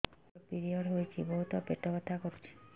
ମୋର ପିରିଅଡ଼ ହୋଇଛି ବହୁତ ପେଟ ବଥା କରୁଛି